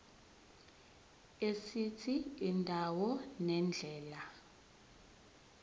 esithi indawo nendlela